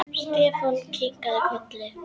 Stefán kinkaði kolli.